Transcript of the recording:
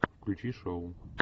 включи шоу